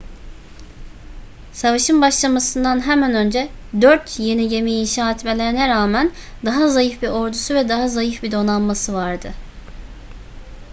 savaşın başlamasından hemen önce dört yeni gemi inşa etmelerine rağmen daha zayıf bir ordusu ve daha zayıf bir donanması vardı